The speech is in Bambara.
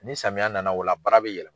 Ni samiya na na o la baara bɛ yɛlɛma.